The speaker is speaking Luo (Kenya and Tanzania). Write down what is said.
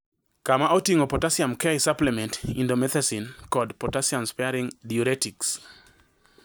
Kama oting`o potassium (K) supplements, indomethacin, kod potassium sparing diuretics.